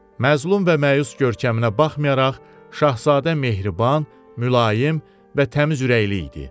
Məzlum və məyus görkəminə baxmayaraq, şahzadə mehriban, mülayim və təmiz ürəkli idi.